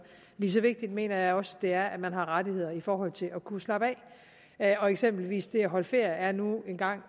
lige så vigtigt mener jeg også det er at man har rettigheder i forhold til at kunne slappe af og eksempelvis er det at holde ferie nu engang